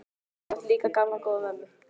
Hún átti líka gamla, góða mömmu.